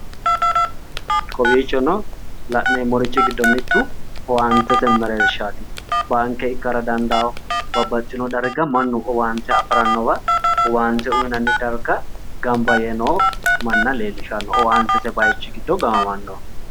Kowiichono la'neemmorichi giddo mittu owaantete merershaaati baanke ikara dandawo babbaxxino daraga mannu owaante afirannowa owaante uyiinanni darga gamba yee noo manna leellishanno owaantete widira gaamamanno